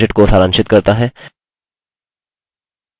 * यह spoken tutorial project को सारांशित करता है